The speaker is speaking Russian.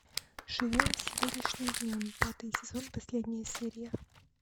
живем сегодняшним днем пятый сезон последняя серия